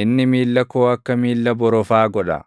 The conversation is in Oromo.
Inni miilla koo akka miilla borofaa godha;